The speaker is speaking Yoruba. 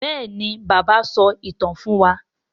béèni bàbá so ìtàn fún wá.